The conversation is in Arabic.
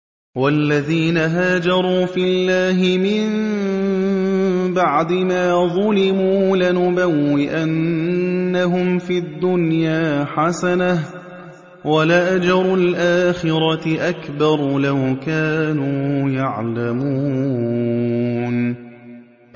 وَالَّذِينَ هَاجَرُوا فِي اللَّهِ مِن بَعْدِ مَا ظُلِمُوا لَنُبَوِّئَنَّهُمْ فِي الدُّنْيَا حَسَنَةً ۖ وَلَأَجْرُ الْآخِرَةِ أَكْبَرُ ۚ لَوْ كَانُوا يَعْلَمُونَ